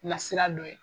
Nasira dɔ ye